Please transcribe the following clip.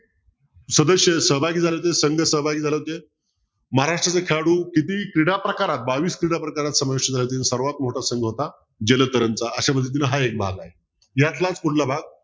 सदस्ये सहभागी झाले होते संघ सहाभागे झाले होते महाराष्ट्राचे खेळाडू किती क्रीडाप्रकारात बावीस क्रीडाप्रकारात सर्वात मोठा संघर्ष होता जलतरण चा यातलाच पुढला भाग